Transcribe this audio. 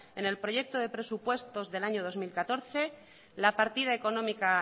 en el proyecto de presupuestos del año dos mil catorce la partida económica